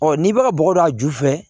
Ɔ n'i bɛ ka bɔgɔ don a ju fɛ